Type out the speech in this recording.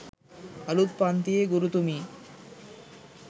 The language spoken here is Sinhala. අලුත් පන්තියේ ගුරුතුමී